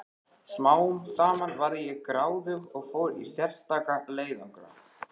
Smám saman varð ég gráðug og fór í sérstaka leiðangra.